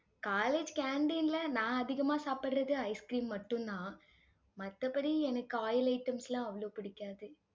college canteen ல நான் அதிகமா சாப்பிடுறது ice cream மட்டும்தான். மத்தபடி எனக்கு oil items லாம் அவ்ளோ பிடிக்காது